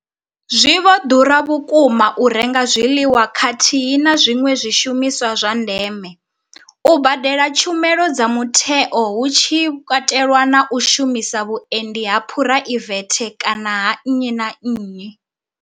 Zwi vho ḓura vhukuma u renga zwiḽiwa khathihi na zwiṅwe zwishumiswa zwa ndeme, u badela tshumelo dza mutheo hu tshi katelwa na u shumisa vhuendi ha phuraivethe kana ha nnyi na nnyi.